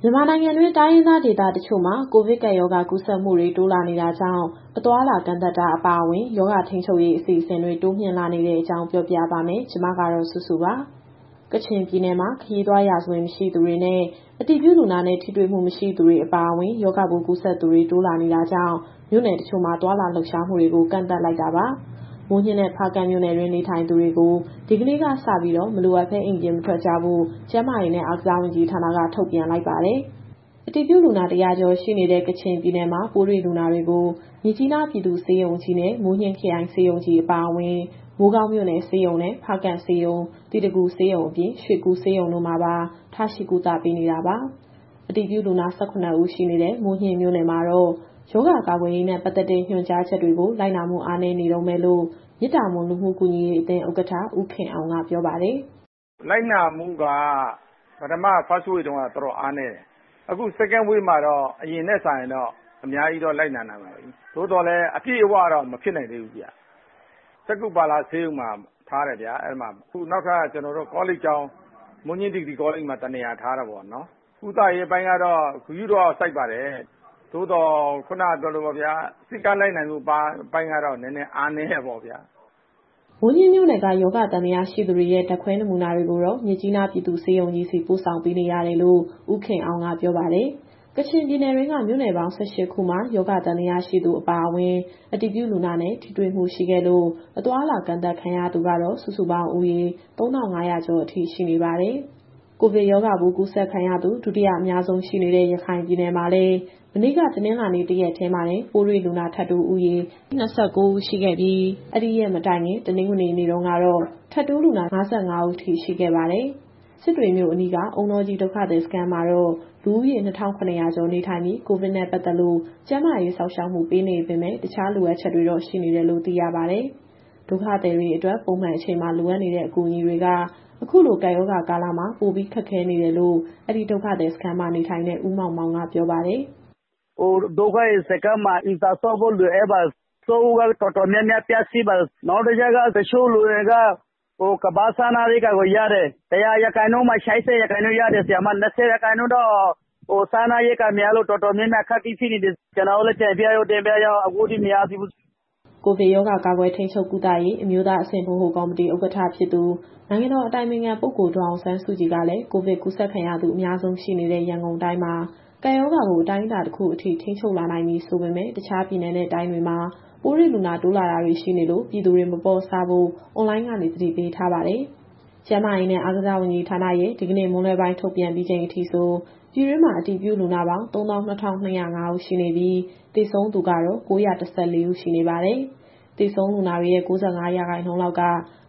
မြန်မာနိုင်ငံတွင်း တိုင်းရင်းသား ဒေသတချို့မှာ ကိုဗစ်ကပ်ရောဂါ ကူးစက်မှုတွေ တိုးလာနေတာကြောင့် အသွားအလာ ကန့်သတ်တာအပါအဝင် ရောဂါထိန်းချုပ်ရေး အစီအစဉ်တွေ တိုးမြှင့်လာနေတဲ့အကြောင်း ပြောပြပါမယ်။ ဒီသတင်းကို ဗွီအိုအေမြန်မာပိုင်း သတင်းထောက် မစုစုက တင်ဆက်ပေးမှာပါ။ ကချင်ပြည်နယ်မှာ ခရီးသွားရာဇဝင် မရှိသူတွေနဲ့ အတည်ပြုလူနာနဲ့ ထိတွေ့မှု မရှိသူတွေ အပါအဝင် ရောဂါပိုးကူးစက်သူတွေ တိုးလာနေတာကြောင့် မြို့နယ်တချို့မှာ သွားလာလှုပ်ရှားမှုတွေကို ကန့်သတ်လိုက်တာပါ။ မိုးညှင်းနဲ့ ဖားကန့်မြို့နယ်တွင်း နေထိုင်သူတွေကို ဒီကနေ့ကစပြီး မလိုအပ်ဘဲ အိမ်ပြင်မထွက်ကြဖို့ ကျန်းမာရေးနဲ့ အားကစားဝန်ကြီးဌာနက ထုတ်ပြန်လိုက်ပါတယ်။ အတည်ပြုလူနာ ၁၀၀ ကျော်ရှိနေတဲ့ ကချင်ပြည်နယ်မှာ ပိုးတွေ့လူနာတွေကို မြစ်ကြီးနား ပြည်သူ့ဆေးရုံကြီးနဲ့ မိုးညှင်းခရိုင် ဆေးရုံကြီးအပါအဝင်၊ မိုးကောင်းမြို့နယ်ဆေးရုံနဲ့ ဖားကန့်ဆေးရုံ၊ သီတဂူဆေးရုံအပြင် ရွှေကူဆေးရုံတို့မှာပါ ထားရှိကုသပေးနေတာပါ။ အတည်ပြုလူနာ ၁၇ ဦးရှိတဲ့ မိုးညှင်းမြို့နယ်မှာတော့ ရောဂါကာကွယ်ရေးနဲ့ ပတ်သက်တဲ့ညွှန်ကြားချက်တွေကို လိုက်နာမှုအားနည်းနေတုန်းပဲလို့ မေတ္တာမွန်လူမှု ကူညီရေးအသင်း (မိုးညှင်း) ဥက္ကဋ္ဌ ဦးခင်အောင်က ပြောပါတယ်။ “လိုက်နာမှုက ပထမ First Wave တုန်းက တော်တော်အားနည်းတယ်။ အခု Second Wave မှာတော့ အရင်ထက်စာရင် အများကြီးတော့ လိုက်နာလာပါတယ်။ သို့သော်လည်း အပြည့်အဝတော့ မဖြစ်နိုင်သေးဘူးဗျ။ (ပိုးတွေ့လူနာတွေကို) စက္ခုပါလဆေးရုံမှာ ထားတယ်။ အခု နောက်ထပ် မိုးညှင်းဒီဂရီကောလိပ်မှာ ထားတယ်ပေါ့။ ကုသရေးပိုင်းကတော့ ဂရုတော့စိုက်ပါတယ်။ သို့သော် ခုနကပြောသလိုပေါ့ဗျာ၊ စည်းကမ်းလိုက်နာမှု အပိုင်းကတော့ နည်းနည်းအားနည်းတာပေါ့ဗျာ။” မိုးညှင်းမြို့နယ်က ရောဂါသံသယလူနာတွေရဲ့ ဓာတ်ခွဲနမူနာတွေကိုတော့ မြစ်ကြီးနားပြည်သူ့ဆေးရုံကြီးဆီ ပို့ဆောင်ပေးနေရတယ်လို့ ဦးခင်အောင်က ပြောပါတယ်။ ကချင်ပြည်နယ်တွင်းက မြို့နယ်ပေါင်း ၁၈ ခုမှာ ရောဂါသံသယရှိသူအပါအဝင်၊ အတည်ပြုလူနာနဲ့ ထိတွေ့မှုရှိခဲ့လို့ အသွားအလာ ကန့်သတ်ခံထားရသူကတော့ စုစုပေါင်းဦးရေ ၃,၅၀၀ ကျော်အထိရှိနေပါတယ်။ ကိုဗစ်ရောဂါပိုး ကူးစက်ခံရသူ ဒုတိယအများဆုံးရှိနေတဲ့ ရခိုင်ပြည်နယ်မှာလည်း မနေ့က တနင်္လာနေ့ တရက်တည်းမှာတင် ပိုးတွေ့လူနာထပ်တိုးဦးရေ ၂၉ ဦးရှိခဲ့ပြီး၊ အဲဒီရက်မတိုင်ခင် တနင်္ဂနွေနေ့တုန်းကတော့ ထပ်တိုးလူနာ ၅၅ ဦးထိ ရှိခဲ့ပါတယ်။ စစ်တွေမြို့အနီးက အုန်းတောကြီးဒုက္ခသည်စခန်းမှာတော့ လူဦးရေ ၂,၇၀၀ ကျော်နေထိုင်ပြီး ကိုဗစ်နဲ့ပတ်သက်လို့ ကျန်းမာရေးစောင့်ရှောက်မှု ပေးနေပေမဲ့ တခြားလိုအပ်ချက်တွေတော့ ရှိနေတယ်လို့ သိရပါတယ်။ ဒုက္ခသည်တွေအတွက် ပုံမှန်အချိန်မှာ လိုအပ်နေတဲ့အကူအညီတွေက အခုလို ကပ်ရောဂါကာလမှာ ပိုပြီးခက်ခဲနေတယ်လို့ အဲဒီစခန်းမှာနေထိုင်တဲ့ ဦးမောင်မောင်က ပြောပါတယ်။ “ဒုက္ခသည်စခန်းမှာ အိမ်သာဆောက်ဖို့ လိုအပ်ပါတယ်။ အဆောက်အဦးကလည်း တော်တော်များများ ပျက်စီးနေပြီ။ နောက်တခုက တချို့လူတွေက ကမ္ဘာ့စားနပ်ရိက္ခာကို ရတယ်။ ၁၀၀ ရာခိုင်နှုန်းမှာ ၈၀ ရာခိုင်နှုန်းလောက် ရတယ်။ ကျန်တဲ့ ၂၀ ရာခိုင်နှုန်းတော့ စားနပ်ရိက္ခာမရလို့ တော်တော်များများ အခက်အခဲဖြစ်နေတယ်။ ကျနော်တို့လည်း တင်ပြတော့တင်ပြထားတယ်၊ အခုထိတော့ မရသေးဘူး။” ကိုဗစ်ရောဂါ ကာကွယ်၊ ထိန်းချုပ်၊ ကုသရေး အမျိုးသားအဆင့် ဗဟိုကော်မတီဥက္ကဌဖြစ်သူ နိုင်ငံတော်အတိုင်ပင်ခံပုဂ္ဂိုလ် ဒေါ်အောင်ဆန်းစုကြည်ကလည်း ကိုဗစ်ကူးစက်ခံရသူ အများဆုံးရှိနေတဲ့ ရန်ကုန်တိုင်းမှာ ကပ်ရောဂါကိုအတိုင်းအတာ တခုအထိထိန်းချုပ်လာနိုင်ပြီ ဆိုပေမယ့် တခြားပြည်နယ်နဲ့ တိုင်းတွေမှာ ပိုးတွေ့လူနာတိုးလာတာတွေရှိနေလို့ ပြည်သူတွေမပေါ့ဆဖို့ အွန်လိုင်းကနေ သတိပေးထားပါတယ်။ ကျန်းမာရေးနဲ့ အားကစားဝန်ကြီးဌာနရဲ့ဒီကနေ့မွန်းလွဲပိုင်း ထုတ်ပြန်ပြီးချိန်အထိဆို ပြည်တွင်းမှာအတည်ပြု လူနာပေါင်း ၃၂,၂၀၅ ဦးရှိနေပြီး၊ သေဆုံးသူကတော့ ၉၁၄ ဦးရှိနေပါတယ်။ သေဆုံးလူနာတွေရဲ့ ၉၅ ရာခိုင်နှုန်းလောက်က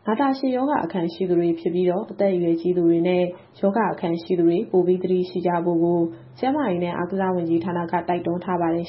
နာတာရှည်ရောဂါအခံရှိသူတွေ ဖြစ်ပြီးတော့ အသက်အရွယ်ကြီးသူနဲ့ ရောဂါအခံရှိသူတွေ ပိုပြီးသတိရှိကြဖို့ကို ကျန်းမာရေးနဲ့ အားကစားဝန်ကြီးဌာနက တိုက်တွန်းထားပါတယ်